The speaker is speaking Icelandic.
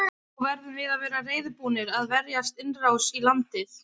Þá verðum við að vera reiðubúnir að verjast innrás í landið.